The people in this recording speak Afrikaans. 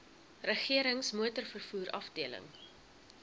regerings motorvervoer afdeling